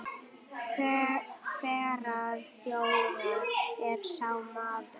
Hverrar þjóðar er sá maður?